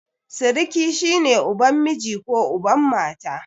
Siriki shi ne uban miji ko uban mata.